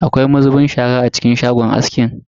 Akwai mazubin shara a cikin shagon askin?